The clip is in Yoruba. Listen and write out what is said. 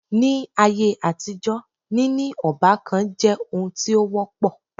Ní áyé àtijọ́ níní ọ́bàkan jẹ́ oun tí o wọ́pọ̀.